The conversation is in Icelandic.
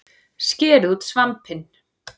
Skerið út svampinn